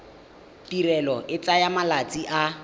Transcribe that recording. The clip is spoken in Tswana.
tirelo e tsaya malatsi a